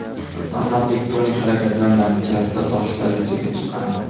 Ammo tektonik harakatlar natijasida toshlar yuzaga chiqqan.